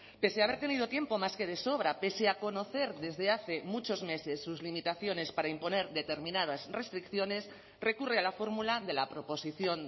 pese a haber tenido tiempo más que de sobra pese a conocer desde hace muchos meses sus limitaciones para imponer determinadas restricciones recurre a la fórmula de la proposición